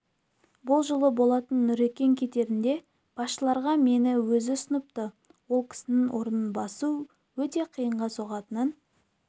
бұл жыл болатын нұрекең кетерінде басшыларға мені өзі ұсыныпты ол кісінің орнын басу өте қиынға соғатынын